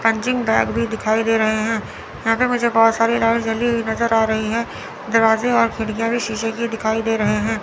Punching bag भी दिखाई दे रहे हैं यहां पर मुझे बहुत सारी लाइट जली हुई नज़र आ रही है दरवाजे और खिड़कियां भी शीशे की दिखाई दे रहे हैं।